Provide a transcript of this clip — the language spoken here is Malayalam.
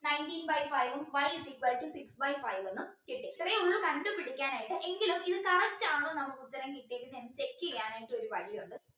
nineteen by five ഉം y is equal to six by five എന്നും കിട്ടി ഇത്രയേ ഉള്ളു കണ്ട് പിടിക്കാനായിട്ട് എങ്കിലും ഇത് correct ആണോന്ന് നമുക്ക് ഉത്തരം കിട്ടിയേക്കുന്നെ എന്ന് check ചെയ്യാനായിട്ട് ഒരു വഴി ഉണ്ട്